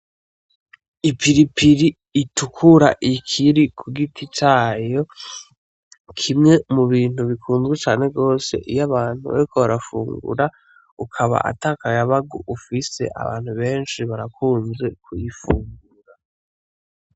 Ipilipili itukura ikiri ku giti cayo, kimwe mu bintu bikundwa cane gose. Iyo abantu bariko barafungura ukaba atakayabagu ufise. Abantu benshi barakunze kuyifungura.